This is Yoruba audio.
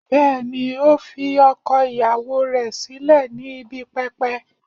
Bẹẹni, o fi ọkọ iyawo rẹ silẹ ni ibi pẹpẹ